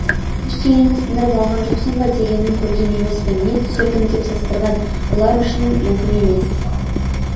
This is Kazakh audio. ештеңені сындырып алған жоқсың ба дегенін көрген емеспін не түсірдің деп састырған бұлар үшін мүмкін емес